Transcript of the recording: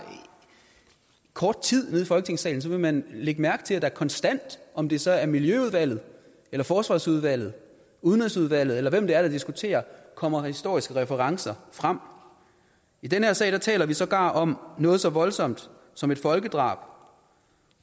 kort tid i folketingssalen vil man lægge mærke til at der konstant om det så er miljøudvalget forsvarsudvalget udenrigsudvalget eller hvem det er der diskuterer kommer historiske referencer frem i den her sag taler vi sågar om noget så voldsomt som et folkedrab